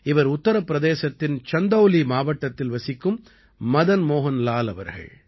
இவர் உத்தர பிரதேசத்தின் சந்தௌலி மாவட்டத்தில் வசிக்கும் மதன் மோஹன் லால் அவர்கள்